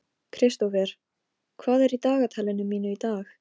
Náttsól, spilaðu lagið „Flæði“.